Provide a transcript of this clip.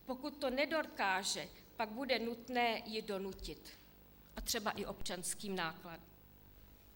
Pokud to nedokáže, pak bude nutné ji donutit, a třeba i občanským nátlakem.